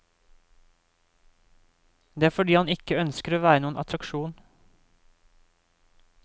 Det er fordi han ikke ønsker å være noen attraksjon.